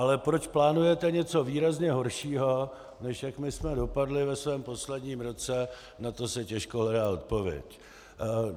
Ale proč plánujete něco výrazně horšího, než jak my jsme dopadli ve svém posledním roce, na to se těžko hledá odpověď.